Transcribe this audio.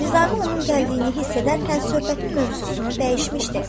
Nizami onun gəldiyini hiss edərkən söhbətin mövzusunu dəyişmişdi.